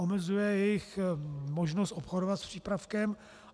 Omezuje jejich možnost obchodovat s přípravkem.